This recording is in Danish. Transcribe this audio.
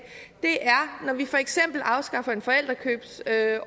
er når vi for eksempel afskaffer en forældrekøbsordning